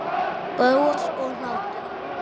Bros og hlátur.